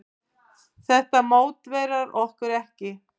Þetta mótiverar okkur ekki.